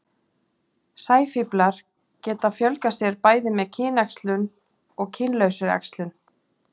Sæfíflar geta fjölgað sér bæði með kynæxlun og kynlausri æxlun.